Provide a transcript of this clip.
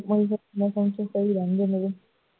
ਸੁੱਤੇ ਹੀ ਰਹਿੰਦੇ ਨੇ